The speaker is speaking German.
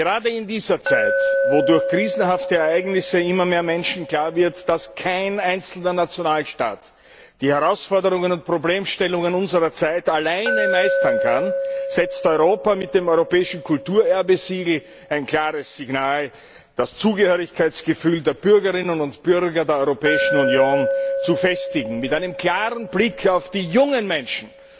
Gerade in dieser Zeit, in der durch krisenhafte Ereignisse immer mehr Menschen klar wird, dass kein einzelner Nationalstaat die Herausforderungen und Problemstellungen unserer Zeit alleine meistern kann, setzt Europa mit dem Europäischen Kulturerbe Siegel ein klares Signal, das Zugehörigkeitsgefühl der Bürgerinnen und Bürger der Europäischen Union zu festigen mit einem klaren Blick auf die jungen Menschen